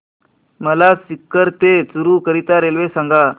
मला सीकर ते चुरु करीता रेल्वे सांगा